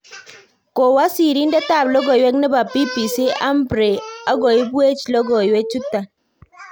Kowee sirindet ab logoiwek nebo BBC Humphrey ago ibewech logoiwek chuton